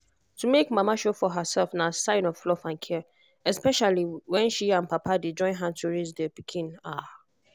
to make mama sure for herself na sign of love and care especially when she and papa dey join hand to raise the pikin ah!